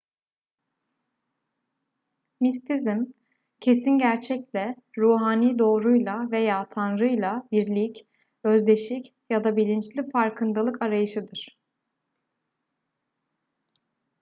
mistisizm kesin gerçekle ruhani doğruyla veya tanrıyla birlik özdeşik ya da bilinçli farkındalık arayışıdır